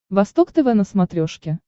восток тв на смотрешке